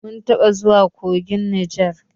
Mun taɓa zuwa kogin Neja.